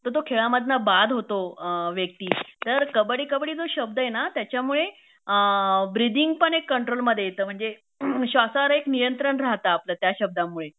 तर तो खेळामधनं बाद होतो व्यक्ती तर कबड्डी कबड्डी जो शब्द आहे ना त्याच्यामुळे अ ब्रीदिंग पण एक कंट्रोल मध्ये येत म्हणजे श्वासावर एक नियंत्रण राहत आपलं त्या शब्दामुळे